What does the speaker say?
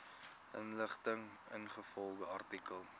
inligting ingevolge artikel